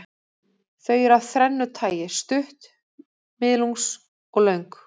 Þau eru af þrennu tagi, stutt, miðlungs og löng.